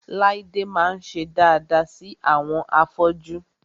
Láídé máa ń ṣe daada sí àwọn afọ́jú